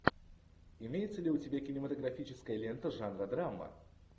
имеется ли у тебя кинематографическая лента жанра драма